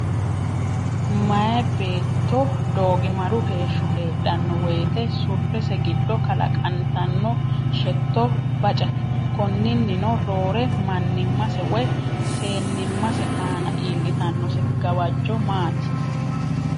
Meyaa beetto doogimaru heeshso heedhanno woyte surrese giddo kalaqantanno shetto bacate. Konninnino roore, mannimmase woy seennimmase aana iillitannose gawajjo maati?